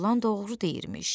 o oğlan doğru deyirmiş.